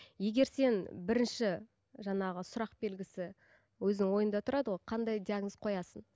егер сен бірінші жаңағы сұрақ белгісі өзінің ойында тұрады ғой қандай диагноз қоясың